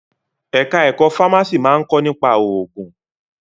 Ẹ̀ka ẹ̀kọ́ fámásì máa ń kọ́ nípa òògùn.